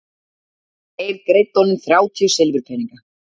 En þeir greiddu honum þrjátíu silfurpeninga.